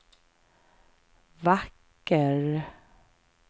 vacker